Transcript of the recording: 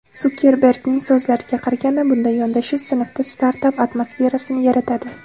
Sukerbergning so‘zlariga qaraganda, bunday yondashuv sinfda startap atmosferasini yaratadi.